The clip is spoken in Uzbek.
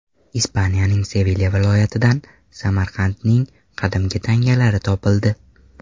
Ispaniyaning Sevilya viloyatidan Samarqandning qadimgi tangalari topildi.